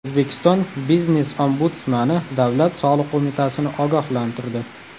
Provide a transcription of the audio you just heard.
O‘zbekiston biznes-ombudsmani Davlat soliq qo‘mitasini ogohlantirdi.